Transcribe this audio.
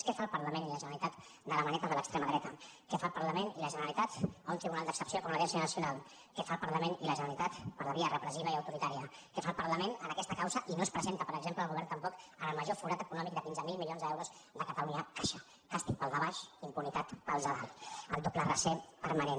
què fan el parlament i la generalitat de la maneta de l’extrema dreta què fan el parlament i la generalitat a un tribunal d’excepció com l’audiència nacional què fan el parlament i la generalitat per la via repressiva i autoritària què fa el parlament en aquesta causa i no es presenta per exemple el govern tampoc en el major forat econòmic de quinze mil milions d’euros de catalunya caixa càstig per al de baix impunitat per als de dalt el doble raser permanent